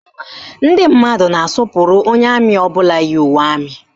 Ndị mmadụ na-asọpụrụ onye amị ọbụla yi uwe amị